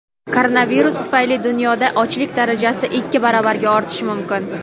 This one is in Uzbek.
Koronavirus tufayli dunyoda ochlik darajasi ikki baravarga ortishi mumkin.